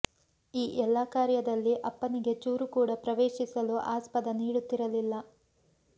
ಈ ಎಲ್ಲಾ ಕಾರ್ಯದಲ್ಲಿ ಅಪ್ಪನಿಗೆ ಚೂರು ಕೂಡ ಪ್ರವೇಶಿಸಲು ಆಸ್ಪದ ನೀಡುತಿರಲಿಲ್ಲ